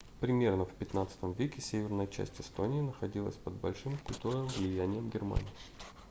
примерно в xv-м веке северная часть эстонии находилась под большим культурным влиянием германии